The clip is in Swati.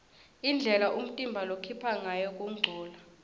indlela umtimba lokhipha ngayo kungcola